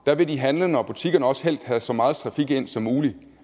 vil de handlende og butikkerne også helst have så meget trafik ind som muligt